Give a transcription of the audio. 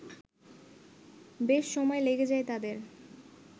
বেশ সময় লেগে যায় তাদের